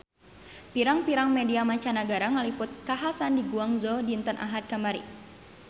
Pirang-pirang media mancanagara ngaliput kakhasan di Guangzhou dinten Ahad kamari